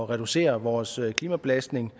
reducere vores klimabelastning